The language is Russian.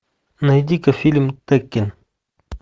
найди ка фильм теккен